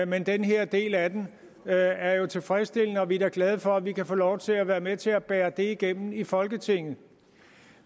men den her del af den er jo tilfredsstillende og vi er da glade for at vi kan få lov til at være med til at bære det igennem i folketinget